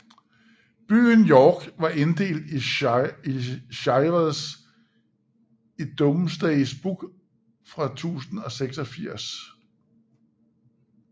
Byen York var inddelt i shires i Domesday Book fra 1086